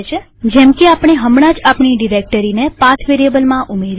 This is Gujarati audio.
જેમકે આપણે હમણાં જ આપણી ડિરેક્ટરીને પાથ વેરીએબલમાં ઉમેરી